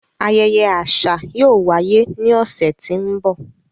Ayẹyẹ aṣa yóò waye ni ọsẹ ti n bọ.